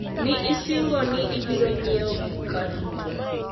ne osingo ni ibiro nyiewo gika duto